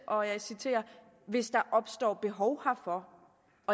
og jeg citerer hvis der opstår behov herfor